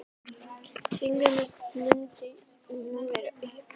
Þannig mundi spennu verða aflétt.